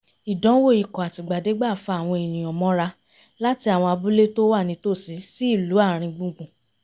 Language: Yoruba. ìdánwò ikọ̀ àtìgbàdégbà fa àwọn èniǹyàn mọ́ra láti àwọn abúlé tó wà nítòsí sí ìlú àáriń gbùngbùn